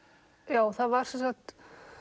já það var sem sagt